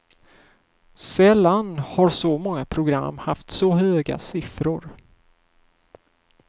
Sällan har så många program haft så höga siffror.